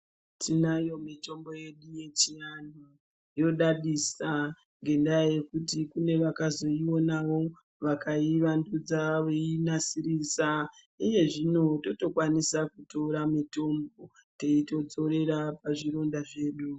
Tinayo mitombo yedu yechivantu yodadisa ngendaa yekuti kune vakazoionavo vakaivandudza veinasirisa, uye zvino totokwanisa kutora mitombo teitodzorera pazvironda zvedu.